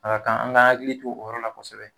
A ga kan an k'an hakili to o yɔrɔ la kosɛbɛ